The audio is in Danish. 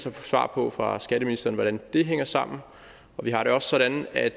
et svar på fra skatteministeren hvordan det hænger sammen og vi har det også sådan at